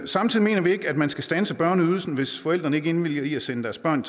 samtidig mener vi ikke at man skal standse børneydelsen hvis forældrene ikke indvilliger i at sende deres børn